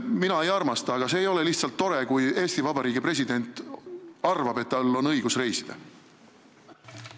Mina ei armasta, aga see ei ole tore, kui Eesti Vabariigi president arvab, et tal on õigus mis tahes moel reisida.